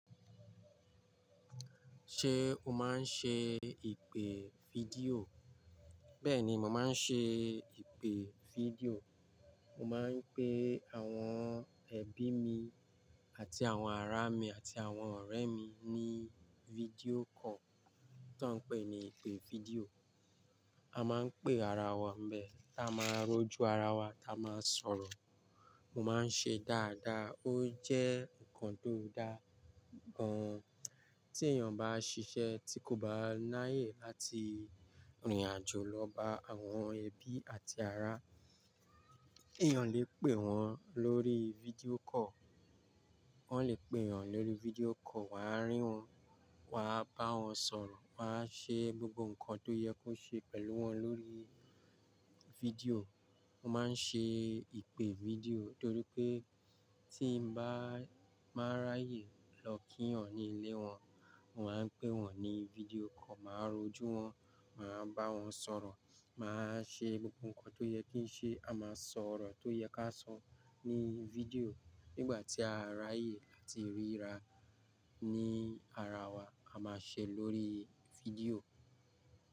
Ṣé o máa ń ṣe ìpè fídíò? Bẹ́ẹ̀ni, mo máa ń ṣe ìpè fídíò. Mo máa ń pe àwọn ẹbí mi àti àwọn ará mi àti àwọn ọ̀rẹ́ mi ní fídíò call tó ń pè ní ìpè fídíò. A máa ń pé ara wa ńbẹ, ta máa rojú ara wa, ta máa sọ̀rọ̀. Mo máa ń ṣe dáadáa. Ó jẹ́ nǹkan tó dáa gan. Tí èèyàn bá ṣiṣẹ́ tí kò bá ni áyè láti rìnrìn àjò lọ bá àwọn ẹbí àti ará, èèyàn lè pè wọ́n lórí fídíò call. Wọ́n lè pè èèyàn lórí fídíò call, waá rí wọn, wa á bá wọn sọ̀rọ̀, wa á ṣe gbogbo nǹkan tó yẹ kó ṣe pẹ̀lú wọn lórí fídíò. Mo máa ń ṣe ìpè fídíò torí pé tí n bá máa ráyè lọ kí èèyàn ní ilé wọn, mo máa ń pé wọ́n ní fídíò call, màá rojú wọn, màá bá wọn sọ̀rọ̀, màá ṣe gbogbo nǹkan tó yẹ kí ń ṣe. A máa sọ̀rọ̀ tó yẹ ká sọ ní fídíò. Nígbà tí a ráyè ati ríra ní ara wa, a máa ṣe lórí fídíò.